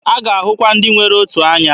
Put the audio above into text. A ga-ahụkwa ndị nwere otu anya.